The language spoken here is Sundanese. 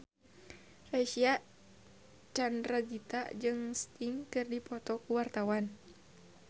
Reysa Chandragitta jeung Sting keur dipoto ku wartawan